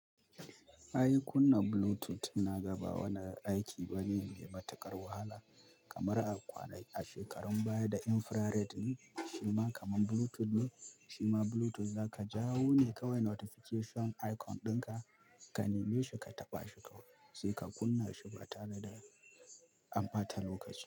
Ai kunna Bluetooth na gaba wani aiki bane mai matuƙar wahala kamar a kwana ki shekarun baya da infrared shima kaman Bluetooth ne shima Bluetooth za ka jawo ne kawai notification icon ɗinka ka neme shi ka taɓa shi kawai sai ka kunna shi ba tare da an bata lokaci.